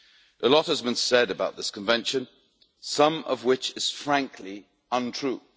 A lot has been said about this Convention, some of which is frankly untrue.